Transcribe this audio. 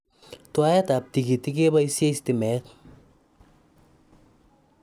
Twaet ab tigitik kepasyei stimet